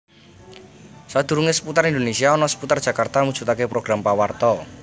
Sadurunge Seputar Indonésia ana Seputar Jakarta mujudake program pawarta